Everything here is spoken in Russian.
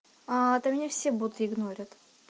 а то мня все будто игнорят